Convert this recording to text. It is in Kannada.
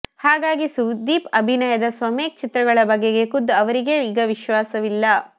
ಹಾಗಾಗಿ ಸುದೀಪ್ ಅಭಿನಯದ ಸ್ವಮೇಕ್ ಚಿತ್ರಗಳ ಬಗೆಗೆ ಖುದ್ದು ಅವರಿಗೇ ಈಗ ವಿಶ್ವಾಸವಿಲ್ಲ